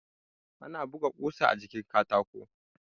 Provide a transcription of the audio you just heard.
Ana buga ƙusa a jikin katako